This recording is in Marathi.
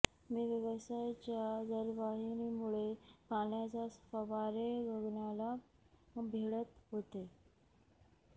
मी व्यासाच्या जलवाहिनीमुळे पाण्याचे फवारे गगनाला भिडत होते